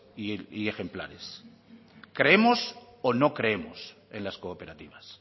y ejemplares creemos o no creemos en las cooperativas